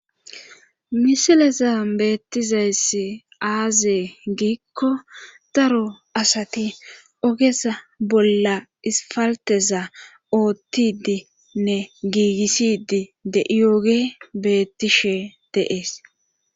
Misileza beettizayssi aazee giikko daro asati ogesa bolla ispalteza oottidinne giigissidi de7iyooge beettishe de'es.